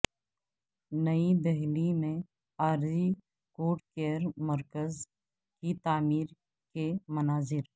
نئی دہلی میں عارضی کووڈ کیئر مرکز کی تعمیر کے مناظر